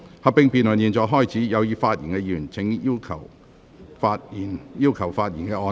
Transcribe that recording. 合併辯論現在開始，請有意發言的議員盡快按"要求發言"按鈕。